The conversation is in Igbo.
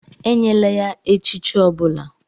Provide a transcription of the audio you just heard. Enyela ya echichi ọ bụla!